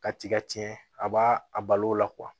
Ka tiga tiɲɛ a b'a a balo la